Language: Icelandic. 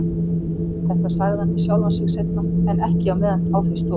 Þetta sagði hann við sjálfan sig seinna, en ekki á meðan á því stóð.